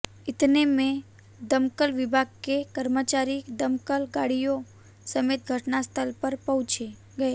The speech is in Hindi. इतने में दमकल विभाग के कर्मचारी दमकल गाडि़यों समेत घटनास्थल पर पहुंच गए